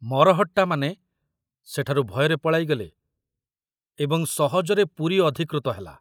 ମରହଟ୍ଟାମାନେ ସେଠାରୁ ଭୟରେ ପଳାଇଗଲେ ଏବଂ ସହଜରେ ପୁରୀ ଅଧିକୃତ ହେଲା।